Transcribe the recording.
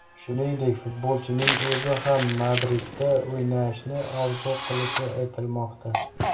Shuningdek, futbolchining o‘zi ham Madridda o‘ynashni orzu qilishi aytilmoqda.